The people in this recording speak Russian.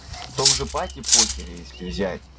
в том же пате похер если взять